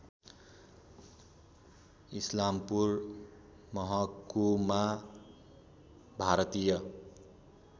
इस्लामपुर मह्कुमा भारतीय